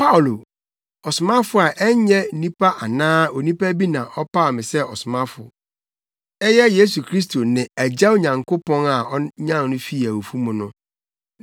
Paulo, ɔsomafo a ɛnyɛ nnipa anaa onipa bi na ɔpaw me sɛ ɔsomafo, na mmom ɛyɛ Yesu Kristo ne Agya Nyankopɔn a onyan no fii awufo mu no,